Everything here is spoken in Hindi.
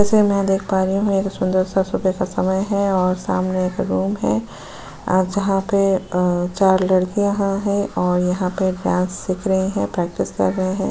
जैसे मैं देख पा रही हूं एक सुंदर सा सुबह का समय है और सामने एक रूम है अ जहां पे अ चार लडकियां ह हैं और यहां पे डांस सीख रही हैं प्रैक्टिस कर रही हैं।